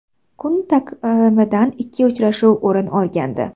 Kun taqvimidan ikki uchrashuv o‘rin olgandi.